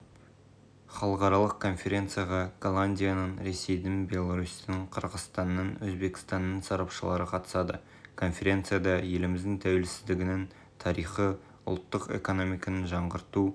халықаралық конференцияға голландияның ресейдің беларусьтің қырғызстанның өзбекстанның сарапшылары қатысады конференцияда еліміздің тәуелсіздігінің тарихы ұлттық экономиканы жаңғырту